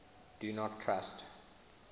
do not trust